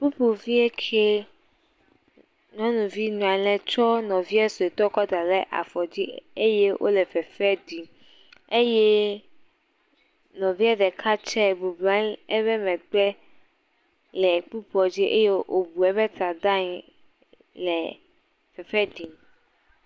Kpukpuvie ke. Nyɔnuvi nɔ anyi ɖe tsɔ nɔvia suetɔ kɔ da ɖe afɔ dzi eye wole fefe ɖim eye nɔvia ɖeka tse gbɔgblu anyi ɖe eƒe megbe le kpukpua dzi eye wobu eƒe ta ɖe anyi le fefe ɖim.